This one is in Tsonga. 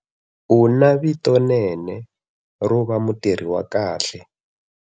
U na vitonene ro va mutirhi wa kahle.